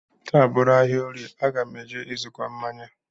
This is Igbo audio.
Taa bụrụ ahịa orie, aga m eje ịzụkọ mmanya